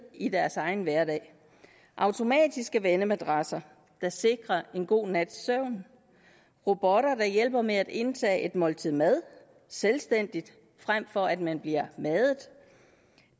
i deres egen hverdag automatiske vendemadrasser der sikrer en god nats søvn robotter der hjælper med at indtage et måltid mad selvstændigt frem for at man bliver madet